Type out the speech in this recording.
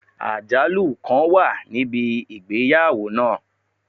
Ajalu kan wa nibi igbeyawo naa